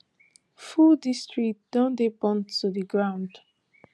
full districts don dey burnt to di ground